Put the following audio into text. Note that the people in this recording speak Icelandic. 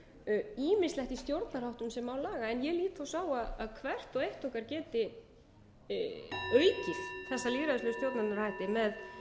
um ýmislegt í stjórnarháttum sem má laga en ég lít svo á að hvert og eitt okkar geti aukið þessa lýðræðislegu stjórnunarhætti með